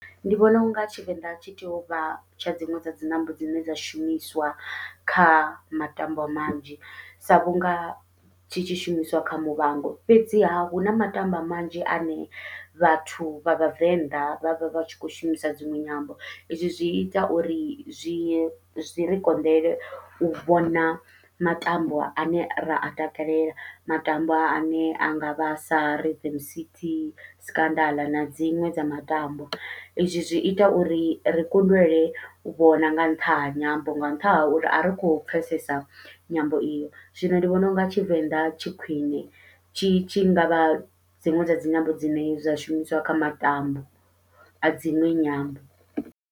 Ndi vhona unga Tshivenḓa tshi tea uvha tsha dziṅwe dza dzinyambo dzine dza shumiswa kha matambwa manzhi, sa vhunga tshi tshishumiswa kha Muvhango fhedziha huna matambwa manzhi ane vhathu vha vhavenḓa vhavha vhatshi kho shumisa dziṅwe nyambo, izwi zwi ita uri zwi zwi ri konḓele u vhona matambwa ane ra a takalela matambwa ane angavha sa Rhythm city, Scandal na dziṅwe dza matambwa. Izwi zwi ita uri ri kundelwe u vhona nga nṱha ha nyambo, nga nṱhani ha uri ari khou pfhesesa nyambo iyo, zwino ndi vhona unga Tshivenḓa tshi khwiṋe tshi tshi ngavha dziṅwe dza dzinyambo dzine dza shumiswa kha matambwa a dziṅwe nyambo.